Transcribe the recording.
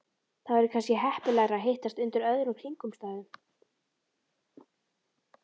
Það væri kannski heppilegra að hittast undir öðrum kringumstæðum